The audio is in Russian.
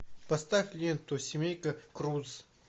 поставь ленту семейка крудс